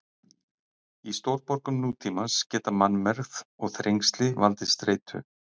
Í stórborgum nútímans geta mannmergð og þrengsli valdið streitu.